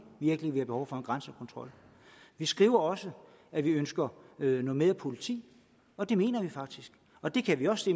virkelig vi har behov for en grænsekontrol vi skriver også at vi ønsker noget mere politi og det mener vi faktisk og det kan vi også